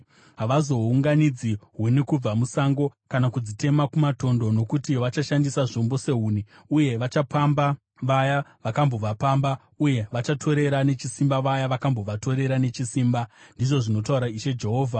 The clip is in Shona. Havachazounganidzi huni kubva musango kana kudzitema kumatondo, nokuti vachashandisa zvombo sehuni. Uye vachapamba vaya vakambovapamba uye vachatorera nechisimba vaya vakambovatorera nechisimba, ndizvo zvinotaura Ishe Jehovha.